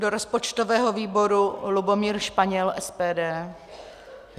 Do rozpočtového výboru Lubomír Španěl, SPD.